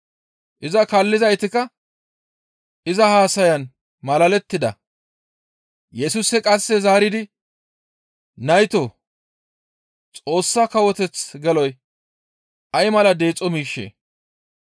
Iza kaallizaytikka iza haasayan malalettida; Yesusi qasse zaaridi, «Naytoo! Xoossa Kawoteth geloy ay mala deexo miishshee!